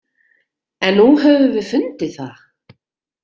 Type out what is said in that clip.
En nú höfum við fundið það.